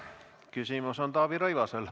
Küsimus on Taavi Rõivasel.